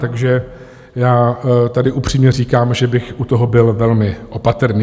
Takže já tady upřímně říkám, že bych u toho byl velmi opatrný.